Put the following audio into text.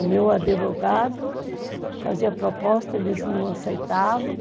O meu advogado fazia proposta, eles não aceitavam.